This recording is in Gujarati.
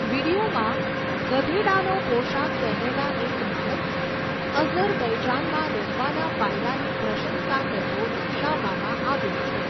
વીડિયોમાં ગધેડાનો પોશાક પહેરેલા એક માણસને અઝરબૈજાનમાં રહેવાના ફાયદાની પ્રશંસા કરતો દર્શાવવામાં આવ્યો છે.